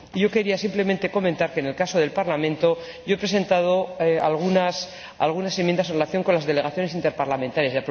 Yo quería simplemente comentar que, en el caso del Parlamento, he presentado algunas enmiendas en relación con las delegaciones interparlamentarias.